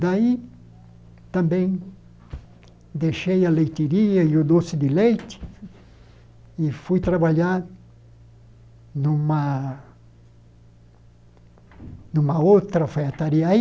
Daí também deixei a leiteiria e o doce de leite e fui trabalhar numa... numa outra alfaiataria aí.